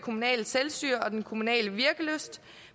kommunale selvstyre og den kommunale virkelyst